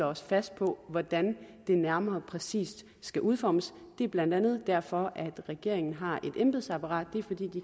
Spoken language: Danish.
os fast på hvordan det nærmere og mere præcist skal udformes det er blandt andet derfor at regeringen har et embedsapparat